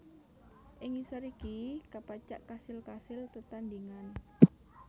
Ing ngisor iki kapacak kasil kasil tetandhingan